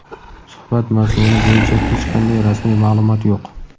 Suhbat mazmuni bo‘yicha hech qanday rasmiy ma’lumot yo‘q.